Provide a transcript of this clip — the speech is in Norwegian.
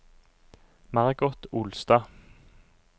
Margot Olstad